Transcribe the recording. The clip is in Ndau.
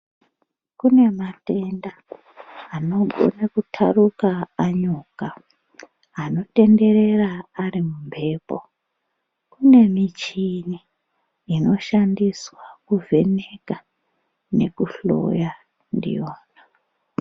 Kune matenda anogone kutharuka anyuka, anotenderera ari mumphepo. Kune michini inoshandiswa kuvheneka, nekuhloya ndiyona.